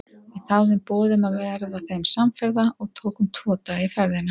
Við þáðum boð um að verða þeim samferða og tókum tvo daga í ferðina.